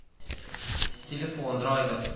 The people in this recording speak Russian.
телефон драйвер